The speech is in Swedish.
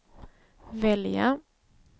välja